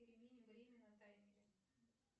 перемени время на таймере